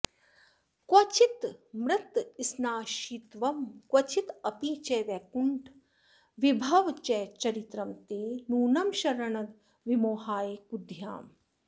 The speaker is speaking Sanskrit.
क्वचिन्मृत्स्नाशित्वं क्वचिदपि च वैकुण्ठविभवश्चरित्रं ते नूनं शरणद विमोहाय कुधियाम्